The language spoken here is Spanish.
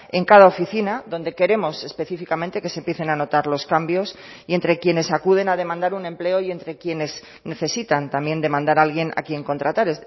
en cada oficina donde queremos específicamente que se empiecen a notar los cambios y entre quienes acuden a demandar un empleo y entre quienes necesitan también demandar alguien a quien contratar